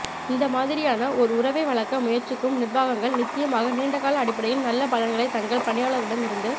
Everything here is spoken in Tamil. இந்தமாதிரியான ஓர் உறவை வளர்க்க முயற்சிக்கும் நிர்வாகங்கள் நிச்சயமாக நீண்ட கால அடிப்படையில் நல்ல பலன்களைத் தங்கள் பணியாளர்களிடம் இருந்து